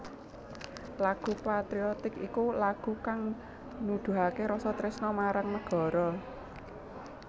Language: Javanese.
Lagu patriotik iku lagu kang nuduhaké rasa tresna marang nagara